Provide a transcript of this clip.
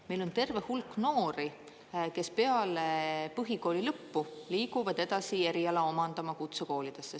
Meil on terve hulk noori, kes peale põhikooli lõppu liiguvad edasi eriala omandama kutsekoolidesse.